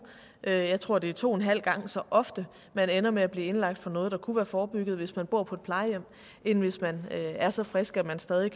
jeg tror at det er to og en halv gang så ofte man ender med at blive indlagt for noget der kunne være forebygget hvis man boede på et plejehjem end hvis man var så frisk at man stadig